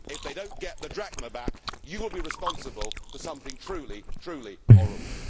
If they do not get the drachma back, you will be responsible for something truly, truly horrible.